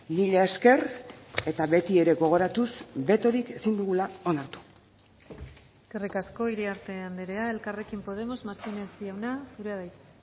mila esker eta beti ere gogoratuz betorik ezin dugula onartu eskerrik asko iriarte andrea elkarrekin podemos martínez jauna zurea da hitza